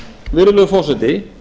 virðulegi forseti